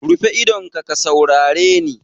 Rufe idonka ka saurare ni!